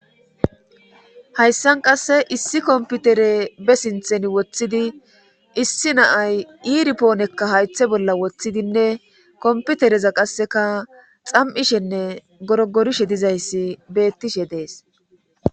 hayssan qasse issi komputere be sinthen woththidi issi naay iiripoonekka haythe bolla woththidinne komputereza qasseka xam7ishenne gorogorishe dizayssi beettishe dees